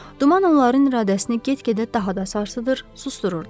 Duman onların iradəsini get-gedə daha da sarsıdır, susdururdu.